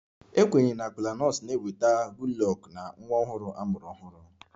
A kwenyere na Kola nut na-eweta Goodluck na nwa ọhụrụ a mụrụ ọhụrụ